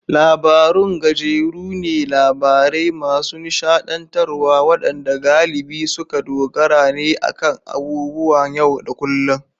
Labarun gajeru ne, labarai masu nishadantarwa wadanda galibi suka dogara ne akan abubuwan yau da kullun.